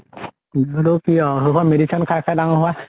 কি আউ সেইখন medicine খাই খাই ডাঙৰ হোৱা